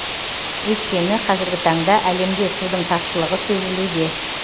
өйткені қазіргі таңда әлемде судың тапшылығы сезілуде